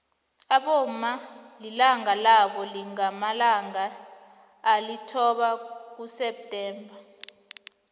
abomma ilanga labo lingamalanga alithoba kuseptember